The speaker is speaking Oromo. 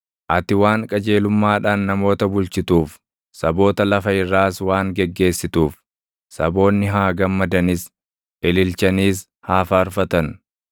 Ati waan qajeelummaadhaan namoota bulchituuf, saboota lafa irraas waan geggeessituuf, saboonni haa gammadanis; ililchaniis haa faarfatan.